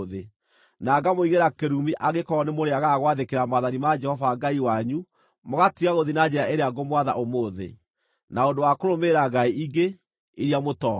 na ngamũigĩra kĩrumi angĩkorwo nĩmũrĩagaga gwathĩkĩra maathani ma Jehova Ngai wanyu mũgatiga gũthiĩ na njĩra ĩrĩa ngũmwatha ũmũthĩ, na ũndũ wa kũrũmĩrĩra ngai ingĩ, iria mũtooĩ.